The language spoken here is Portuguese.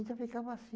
E só ficava assim.